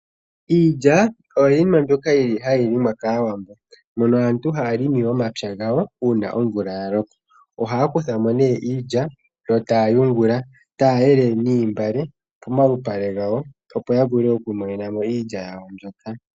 Iilyaoyo yimwe mbyoka hayi limwa kaantu mOwambo, mono aantu haya limi momapya gawo uuna omvulaya loko. Ohaya kutha mo nee iilya yo taya yungula taya elelee niimbale pomalupale gawo, opo ya vule oku imonena mo iilya yawo mbyoka.